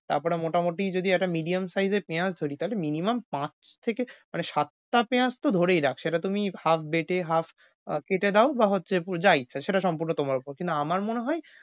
তারপরে মোটামুটি যদি একটা medium size এর পেয়াজ ছুরি তাইলে minimum পাঁচ থেকে সাতটা পেয়াজ তো ধরেই রাখ, সেটা তুমি half বেটে half কেটে দাও বা যা ইচ্ছা সেটা সম্পূর্ণ তোমার উপর। কিন্তু আমার মনে হয়,